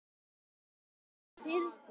askur af þyrni